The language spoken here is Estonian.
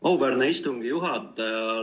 Auväärne istungi juhataja!